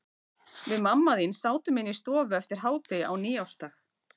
Við mamma þín sátum inni í stofu eftir hádegi á nýársdag.